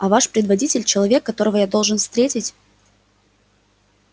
а ваш предводитель человек которого я должен встретить